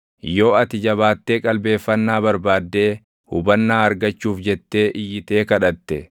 yoo ati jabaattee qalbeeffannaa barbaaddee hubannaa argachuuf jettee iyyitee kadhatte,